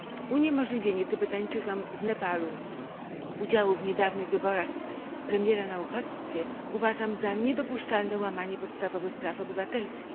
Uniemożliwienie Tybetańczykom z Nepalu udziału w niedawnych wyborach premiera na uchodźstwie uważam za niedopuszczalne łamanie podstawowych praw obywatelskich.